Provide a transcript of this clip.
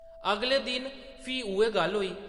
अगले दिन, फ्ही उʼऐ गल्ल होई ।